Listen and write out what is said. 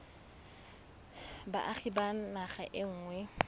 boagi ba naga e nngwe